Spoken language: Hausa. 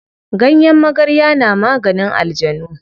Ganyen magarya na maganin aljanu.